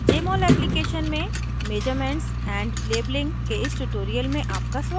jmol application में measurements and labeling के इस tutorial में आपका स्वागत है